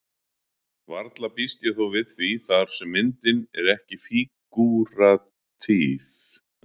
Varla býst ég þó við því þar sem myndin er ekki fígúratíf.